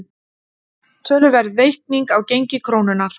Töluverð veiking á gengi krónunnar